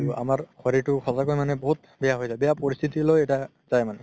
আৰু আমাৰ শৰিৰতো মানে বহুত বেয়া হয় যাই বেয়া পৰিস্থিতি লৈ এটা যাই মানে